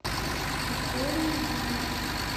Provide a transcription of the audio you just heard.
викторией юрьевной